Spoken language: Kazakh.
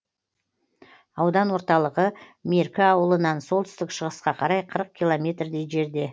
аудан орталығы меркі ауылынан солтүстік шығысқа қарай қырық километрдей жерде